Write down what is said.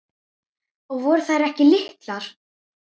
Og voru þær ekki litlar.